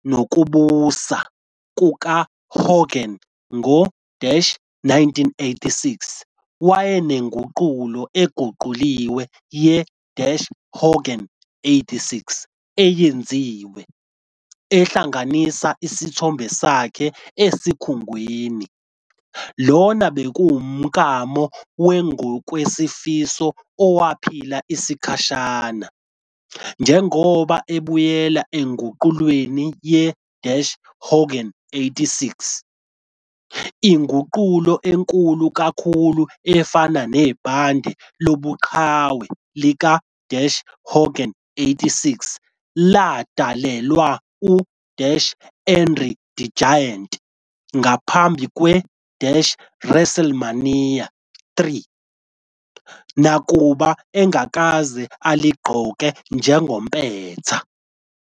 Phakathi nokubusa kukaHogan ngo-1986, wayenenguqulo eguquliwe ye-Hogan '86 eyenziwe, ehlanganisa isithombe sakhe esikhungweni. Lona bekuwumklamo wangokwezifiso owaphila isikhashana njengoba ebuyela enguqulweni ye-Hogan '86. Inguqulo enkulu kakhulu efana nebhande lobuqhawe lika-Hogan '86 ladalelwa u- André the Giant ngaphambi kwe- WrestleMania III, nakuba engakaze aligqoke njengompetha.